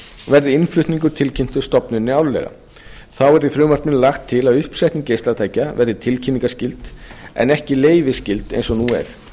verði innflutningur tilkynntur stofnuninni árlega þá er í frumvarpinu lagt til að uppsetning geislatækja verði tilkynningarskyld en ekki leyfisskyld eins og nú er